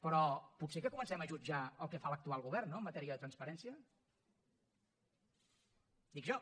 però potser que comencem a jutjar el que fa l’actual govern no en matèria de transparència dic jo